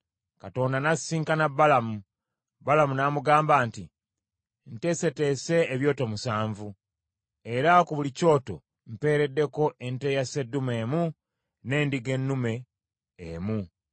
Katonda n’asisinkana Balamu; Balamu n’amugamba nti, “Nteeseteese ebyoto musanvu, era ku buli kyoto mpeereddeko ente ya sseddume emu n’endiga ennume emu.”